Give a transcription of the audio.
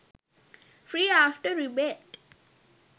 free after rebate